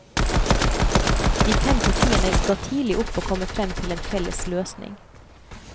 De fem partiene ga tidlig opp å komme frem til en felles løsning.